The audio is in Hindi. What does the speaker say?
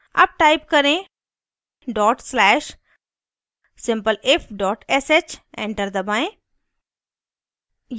अब type करें dot slash simpleif sh enter दबाएं